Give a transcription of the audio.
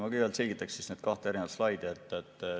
Ma kõigepealt selgitan neid kahte slaidi.